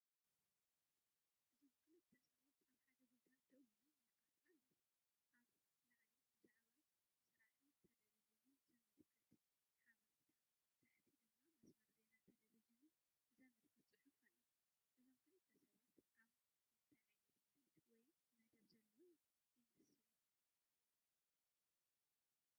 እዚ ክልተ ሰብኡት ኣብ ሓደ ቦታ ደው ኢሎም ይካትዑ ኣለዉ። ኣብ ላዕሊ ብዛዕባ ስራሕን ቴሌቪዥንን ዝምልከት ሓበሬታ፡ ታሕቲ ድማ መስመር ዜና ቴሌቪዥን ዘመልክት ጽሑፍ ኣሎ። እዞም ክልተ ሰባት ኣብ ምንታይ ዓይነት ምርኢት ወይ መደብ ዘለዉ ይመስሉ?